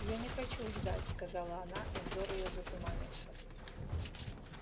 я не хочу ждать сказала она и взор её затуманился